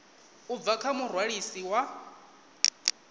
u bva kha muṅwalisi wa